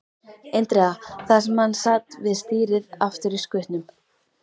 Indriða, þar sem hann sat við stýrið aftur í skutnum.